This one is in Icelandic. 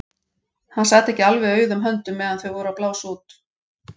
Hann sat ekki alveg auðum höndum meðan þau voru að blása út.